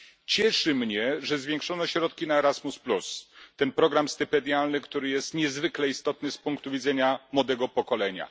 Cieszy mnie, że zwiększono środki na Erasmus, czyli program stypendialny, który jest niezwykle istotny z punktu widzenia młodego pokolenia.